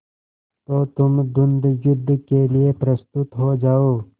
तो तुम द्वंद्वयुद्ध के लिए प्रस्तुत हो जाओ